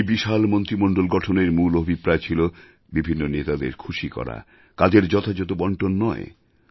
এই বিশাল মন্ত্রীমণ্ডল গঠনের মূল অভিপ্রায় ছিল বিভিন্ন নেতাদের খুশি করা কাজের যথাযথ বণ্টন নয়